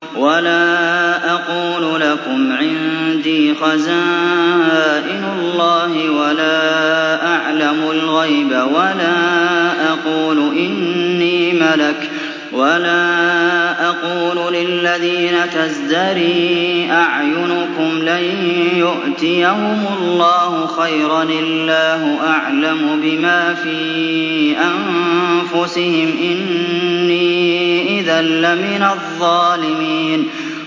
وَلَا أَقُولُ لَكُمْ عِندِي خَزَائِنُ اللَّهِ وَلَا أَعْلَمُ الْغَيْبَ وَلَا أَقُولُ إِنِّي مَلَكٌ وَلَا أَقُولُ لِلَّذِينَ تَزْدَرِي أَعْيُنُكُمْ لَن يُؤْتِيَهُمُ اللَّهُ خَيْرًا ۖ اللَّهُ أَعْلَمُ بِمَا فِي أَنفُسِهِمْ ۖ إِنِّي إِذًا لَّمِنَ الظَّالِمِينَ